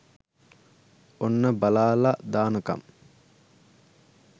ඔන්න බලාලා දානකම්